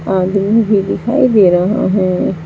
आदमी भी दिखाई दे रहा है।